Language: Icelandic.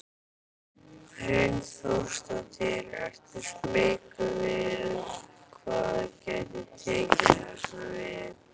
Hrund Þórsdóttir: Ertu smeykur við hvað gæti tekið hérna við?